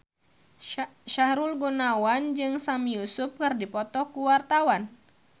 Sahrul Gunawan jeung Sami Yusuf keur dipoto ku wartawan